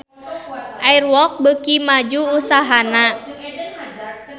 Air Walk beuki maju usahana